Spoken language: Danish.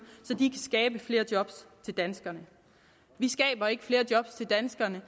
så de kan skabe flere job til danskerne vi skaber ikke flere job til danskerne